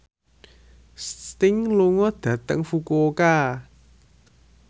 Sting lunga dhateng Fukuoka